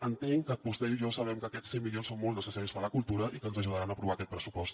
entenc que vostè i jo sabem que aquests cent milions són molt necessaris per a la cultura i que ens ajudaran a aprovar aquest pressupost